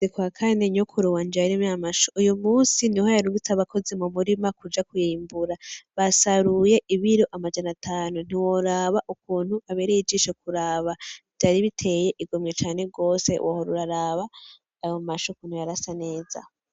N'ukwakane nyokuru wanje yarimye amashu, uyo musi niho yarungitse abakozi mu murima kuja kwimbura, basaruye ibiro amajana atanu ntiworaba ukuntu abereye ijisho kuraba vyari biteye igomwe cane gose wohora uraraba ayo mashu ukuntu yarasa neza.